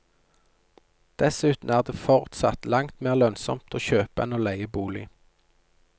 Dessuten er det fortsatt langt mer lønnsomt å kjøpe enn å leie bolig.